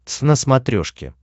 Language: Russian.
твз на смотрешке